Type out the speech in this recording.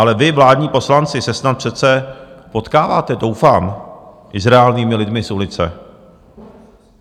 Ale vy, vládní poslanci, se snad přece potkáváte, doufám, i s reálnými lidmi z ulice.